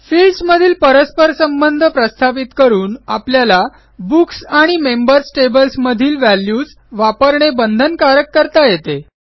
फिल्डसमधील परस्परसंबध प्रस्थापित करून आपल्याला बुक्स आणि मेंबर्स टेबल्स मधील व्हॅल्यूज वापरणे बंधनकारक करता येते